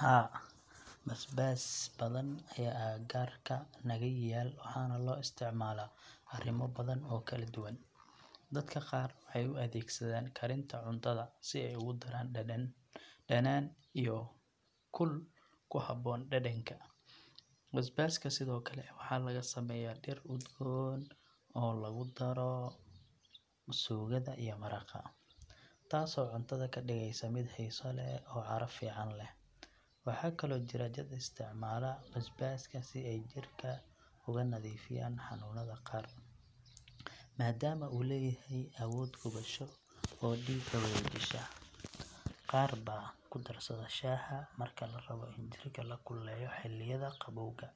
Haa, basbaas badan ayaa agagaarka naga yaal waxaana loo isticmaalaa arrimo badan oo kala duwan. Dadka qaar waxay u adeegsadaan karinta cuntada si ay ugu daraan dhanaan iyo kul ku habboon dhadhanka. Basbaaska sidoo kale waxaa laga sameeyaa dhir udgoon oo lagu daro suugada iyo maraqa, taasoo cuntada ka dhigaysa mid xiiso leh oo caraf fiican leh. Waxaa kaloo jira dad isticmaala basbaaska si ay jirka uga nadiifiyaan xanuunada qaar, maadaama uu leeyahay awood gubasho oo dhiigga wareejisa. Qaar baa ku darsada shaaha marka la rabo in jirka la kululeeyo xilliyada qabowga.